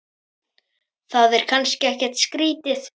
Það er kannski ekkert skrýtið?